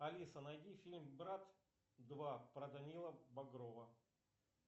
алиса найди фильм брат два про данила бодрова